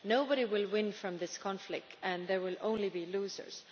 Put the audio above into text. Nobody will win from this conflict and there will only be losers.